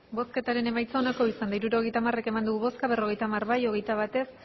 hirurogeita hamar eman dugu bozka berrogeita hamar bai hogeita bat ez